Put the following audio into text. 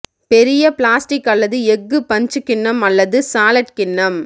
பெரிய பிளாஸ்டிக் அல்லது எஃகு பஞ்ச் கிண்ணம் அல்லது சாலட் கிண்ணம்